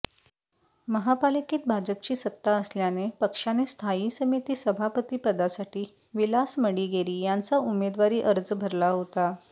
महापालिकेत भाजपची सत्ता असल्याने पक्षाने स्थायी समिती सभापतीपदासाठी विलास मडिगेरी यांचा उमेदवारी अर्ज भरला होता